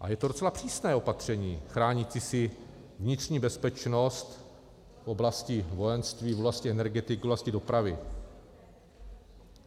A je to docela přísné opatření chránící si vnitřní bezpečnost v oblasti vojenství, v oblasti energetiky, v oblasti dopravy.